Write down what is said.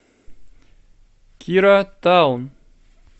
кира таун